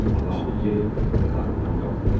Madam Voke yatağından qalxdı.